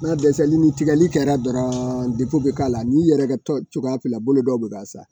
Na dɛsɛlini tigali kɛra dɔrɔn bɛ k'a la n yɛrɛ ka tɔ cogoya fila bolo dɔw bɛ ka sa